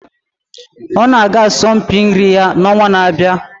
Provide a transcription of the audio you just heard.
ọ na-aga asọmpi nri ya n'ọnwa na-abịa